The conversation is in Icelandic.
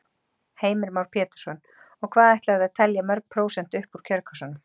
Heimir Már Pétursson: Og hvað ætlarðu að telja mörg prósent upp úr kjörkössunum?